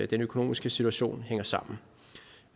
den økonomiske situation hænger sammen